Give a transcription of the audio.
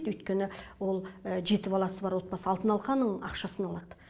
өйткені ол жеті баласы бар отбасы алтын алқаның ақшасын алады